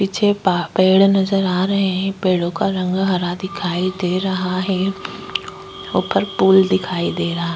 पीछे पा पेड़ नजर आ रहे हैं। पेड़ों का रंग हरा दिखाई दे रहा है। ऊपर पूल दिखाई दे रहा --